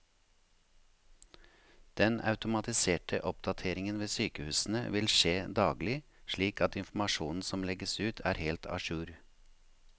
Den automatiserte oppdateringen ved sykehusene vil skje daglig, slik at informasjonen som legges ut er helt a jour.